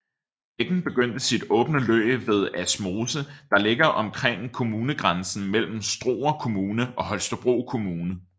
Bækken begynder sit åbne løb ved Asmose der ligger omkring kommunegrænsen mellem Struer Kommune og Holstebro Kommune